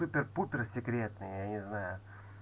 супер-пупер секретно я не знаю